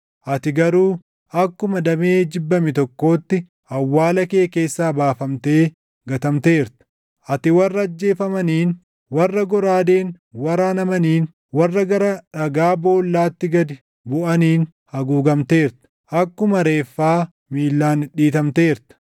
Ati garuu akkuma damee jibbame tokkootti, awwaala kee keessaa baafamtee gatamteerta; ati warra ajjeefamaniin, warra goraadeen waraanamaniin, warra gara dhagaa boollaatti gad buʼaniin haguugamteerta. Akkuma reeffaa miillaan dhidhiitamteerta;